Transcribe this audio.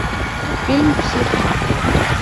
фильм психо